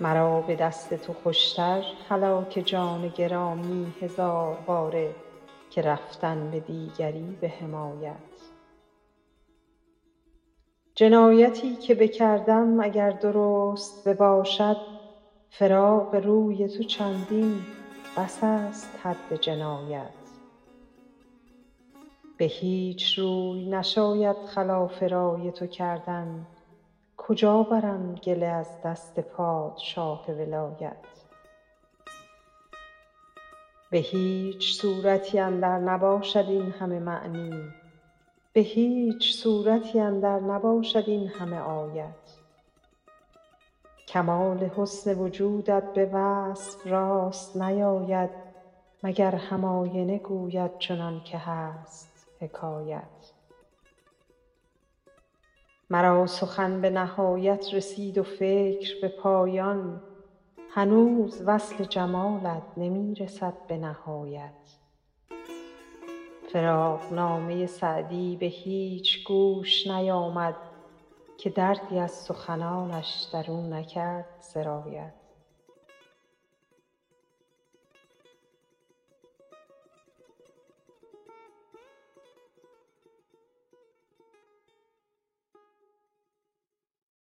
مرا به دست تو خوش تر هلاک جان گرامی هزار باره که رفتن به دیگری به حمایت جنایتی که بکردم اگر درست بباشد فراق روی تو چندین بس است حد جنایت به هیچ روی نشاید خلاف رای تو کردن کجا برم گله از دست پادشاه ولایت به هیچ صورتی اندر نباشد این همه معنی به هیچ سورتی اندر نباشد این همه آیت کمال حسن وجودت به وصف راست نیاید مگر هم آینه گوید چنان که هست حکایت مرا سخن به نهایت رسید و فکر به پایان هنوز وصف جمالت نمی رسد به نهایت فراقنامه سعدی به هیچ گوش نیامد که دردی از سخنانش در او نکرد سرایت